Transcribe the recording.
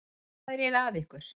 Hvað er eiginlega að ykkur?